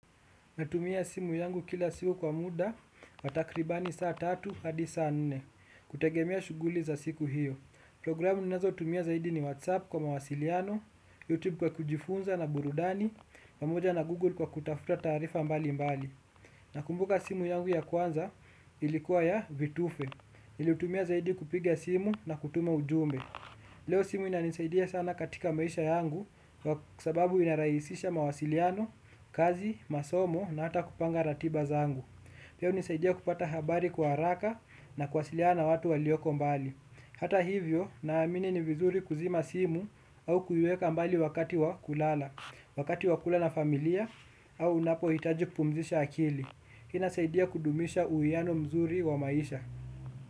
Natumia simu yangu kila siku kwa muda, wa takribani saa tatu, hadi saa nne. Kutegemea shughuli za siku hiyo. Programu ninazotumia zaidi ni WhatsApp kwa mawasiliano, YouTube kwa kujifunza na burudani, pamoja na Google kwa kutafuta taarifa mbalimbali. Nakumbuka simu yangu ya kwanza ilikuwa ya vitufe. Niliyotumia zaidi kupiga simu na kutuma ujumbe. Leo simu inanisaidia sana katika maisha yangu, kwa sababu yaraisisha mawasiliano, kazi, masomo na hata kupanga ratiba zangu. Pia unisaidia kupata habari kwa haraka na kuwasiliana watu walioko mbali. Hata hivyo, naamini ni vizuri kuzima simu au kuiweka mbali wakati wa kulala, wakati wa kula na familia au unapohitaji kupumzisha akili. Hii inasaidia kudumisha uwiano mzuri wa maisha.